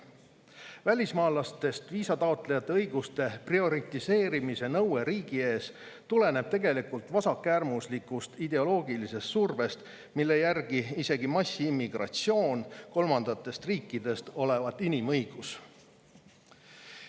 Välismaalastest viisataotlejate õiguste prioritiseerimise nõue riigi ees tuleneb tegelikult vasakäärmuslikust ideoloogilisest survest, mille järgi isegi massiimmigratsioon kolmandatest riikidest olevat inimõigus.